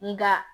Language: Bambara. Nga